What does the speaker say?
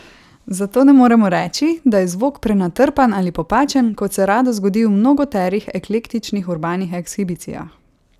Zato ne moremo reči, da je zvok prenatrpan ali popačen, kot se rado zgodi v mnogoterih eklektičnih urbanih ekshibicijah.